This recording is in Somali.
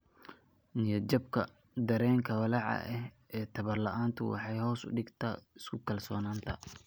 niyad-jabka, dareenka walaaca ee tabar-la'aantu waxay hoos u dhigtaa isku-kalsoonaanta.